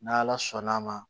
N'ala sɔnn'a ma